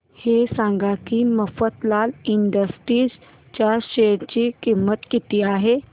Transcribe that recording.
हे सांगा की मफतलाल इंडस्ट्रीज च्या शेअर ची किंमत किती आहे